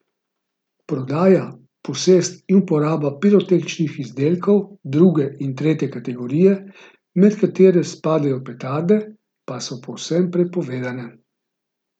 Prodaja, posest in uporaba pirotehničnih izdelkov druge in tretje kategorije, med katere spadajo petarde, pa so povsem prepovedane.